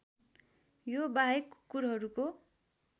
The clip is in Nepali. यो बाहेक कुकुरहरूको